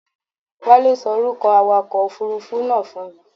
Wálé ṣọ orúkọ awakọ òfurufú náà fún mi.